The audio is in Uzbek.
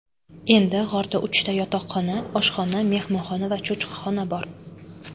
Endi g‘orda uchta yotoqxona, oshxona, mehmonxona va cho‘chqaxona bor.